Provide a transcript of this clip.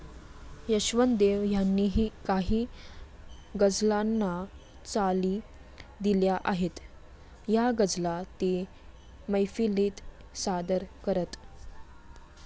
यशवंत देव यांनीही काही गझलांना चाली दिल्या आहेत. या गझला ते मैफिलीत सादर करत.